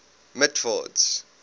mitford's